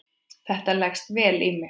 Þetta leggst vel í mig.